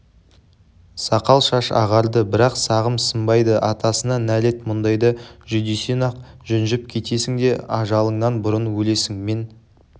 сақал-шаш ағарды бірақ сағым сынбайды атасына нәлет мұндайда жүдесең-ақ жүнжіп кетесің де ажалыңнан бұрын өлесің мен